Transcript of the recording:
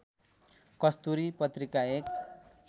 कस्तुरी पत्रिका एक